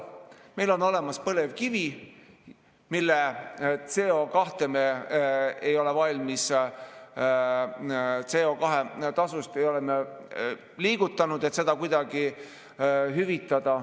Meil on olemas põlevkivi, mille CO2 tasu me ei ole liigutanud, et seda kuidagi hüvitada.